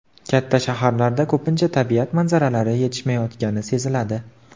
Katta shaharlarda ko‘pincha tabiat manzaralari yetishmayotgani seziladi.